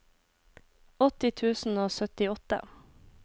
åtti tusen og syttiåtte